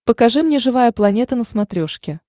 покажи мне живая планета на смотрешке